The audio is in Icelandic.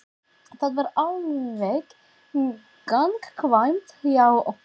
Það er alveg gagnkvæmt hjá okkur.